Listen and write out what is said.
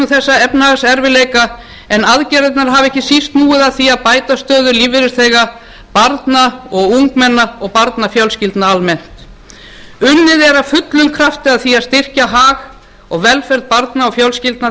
þessa efnahagserfiðleika bera aðgerðirnar hafa ekki síst snúið að því að bæta stöðu lífeyrisþega barna og ungmenna og barnafjölskyldna almennt unnið er af fullum krafti að því að styrkja hag og velferð barna og fjölskyldna